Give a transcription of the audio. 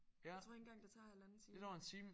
Jeg tror ikke engang det tager halvanden time